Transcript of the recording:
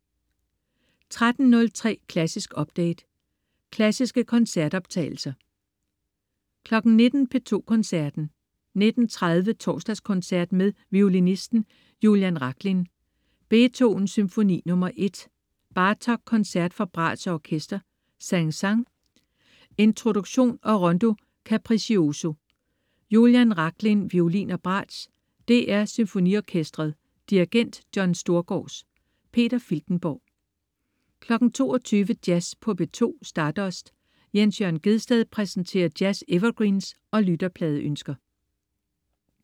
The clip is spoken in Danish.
13.03 Klassisk update. Klassiske koncertoptagelser 19.00 P2 Koncerten. 19.30 Torsdagskoncert med violinisten Julian Rachlin. Beethoven: Symfoni nr. 1. Bartók: Koncert for bratsch og orkester. Saint-Saëns: Introduktion og Rondo Capriccioso. Julian Rachlin, violin og bratsch. DR SymfoniOrkestret. Dirigent: John Storgårds. Peter Filtenborg 22.00 Jazz på P2. Stardust. Jens Jørn Gjedsted præsenterer jazz-evergreens og lytterpladeønsker